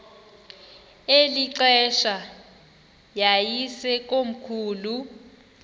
eli xesha yayisekomkhulu